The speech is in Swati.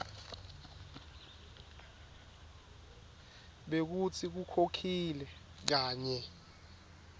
bekutsi ukhokhile kanye